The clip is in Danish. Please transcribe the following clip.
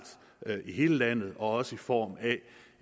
i hele landet også i form af